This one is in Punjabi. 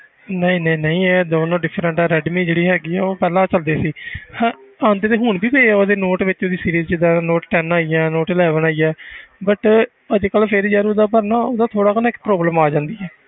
ਨਹੀਂ ਨਹੀਂ ਨਹੀਂ ਇਹ ਦੋਨੋਂ different ਆ ਰੈਡਮੀ ਜਿਹੜੀ ਹੈਗੀ ਹੈ ਉਹ ਪਹਿਲਾਂ ਚੱਲਦੀ ਸੀ ਹਨਾ ਆਉਂਦੇ ਤੇ ਹੁਣ ਵੀ ਪਏ ਆ ਉਹਦੇ note ਵਿੱਚ ਉਹਦੀ series ਜਿੱਦਾਂ note ten ਆਈ ਆ note eleven ਆਈ ਆ but ਅੱਜ ਕੱਲ੍ਹ ਫਿਰ ਯਾਰ ਉਹਦਾ ਪਰ ਨਾ ਉਹਦਾ ਥੋੜ੍ਹਾ ਕੁ ਨਾ ਇੱਕ problem ਆ ਜਾਂਦੀ ਹੈ,